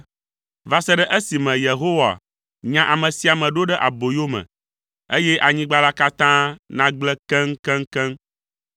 Va se ɖe esime Yehowa nya ame sia ame ɖo ɖe aboyome, eye anyigba la katã nagblẽ keŋkeŋkeŋ.